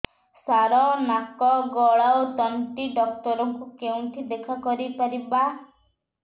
ସାର ନାକ ଗଳା ଓ ତଣ୍ଟି ଡକ୍ଟର ଙ୍କୁ କେଉଁଠି ଦେଖା କରିପାରିବା